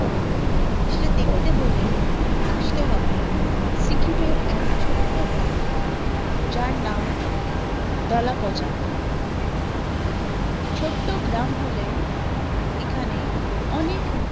সেটা দেখতে হলে আসতে হবে সিকিম এর এক ছোট গ্রামে, যার নাম দলাপঁছাদ ছোট্ট গ্রাম হলেও এখানে অনেক